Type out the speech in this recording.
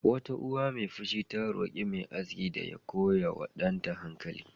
Wata uwa mai fushi ta roƙi mai aski da ya koya wa danta hankali.